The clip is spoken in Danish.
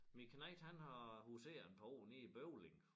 Min knejt han har huseret et par år nede i Bøvling